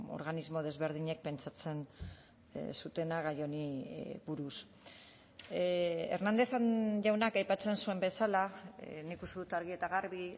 organismo desberdinek pentsatzen zutena gai honi buruz hernández jaunak aipatzen zuen bezala nik uste dut argi eta garbi